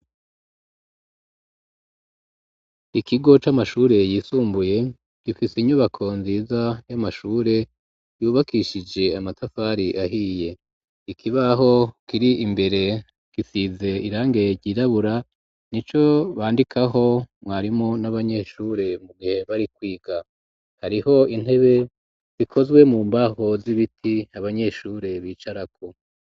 Ikigo c'amashure yisumbuye gifise inyubako nziza y'amashure yubakishije amatafari ahiye ikibaho kiri imbere kisize irange ryirabura nico bandikaho mwarimu n'abanyeshure mu gihe bari kwiga hariho intebe zikozwe mu mbaho z'ibiti abanyeshure bicarako.